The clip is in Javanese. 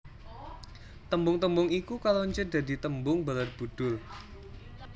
Tembung tembung iku karoncé dadi tembung Barabudhur